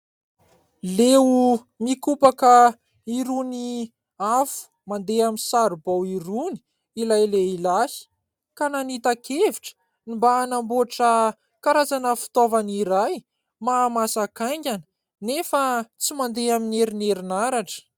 Leo mikopaka irony afo mandeha amin'ny saribao irony ilay lehilahy ka nanita-kevitra ny mba hanamboatra karazana fitaovana iray mahamasaka aingana anefa tsy mandeha amin'ny herin'ny herinaratra.